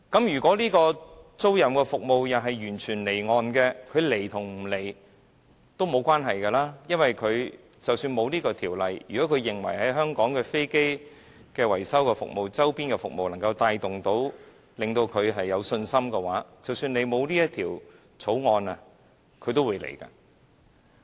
如果飛機租賃服務完全離岸進行，那麼這些公司是否來香港發展也不重要；因為如果它們認為香港的維修服務、周邊的服務能夠令它們有信心的話，即使政府沒有制定這項《條例草案》，那些公司也會來香港發展。